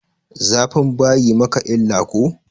Zafin bayi maka illa ko?